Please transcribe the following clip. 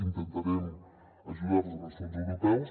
intentarem ajudar·los amb els fons europeus